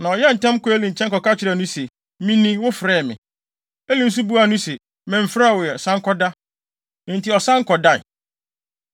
Na ɔyɛɛ ntɛm kɔɔ Eli nkyɛn kɔka kyerɛɛ no se, “Mini; wofrɛɛ me.” Eli nso buaa no se, “Memfrɛɛ wo ɛ; san kɔda.” Enti ɔsan kɔdae.